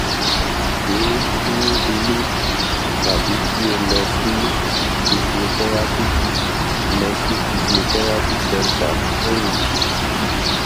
o le se e ni ile tabi ki o lo si physiotherapy lo si physiotherapy centre fun eyi